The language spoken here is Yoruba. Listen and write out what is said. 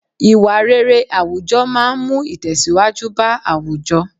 Ìwà rere àwùjọ máa ń mú Itesiwaju bá àwùjọ.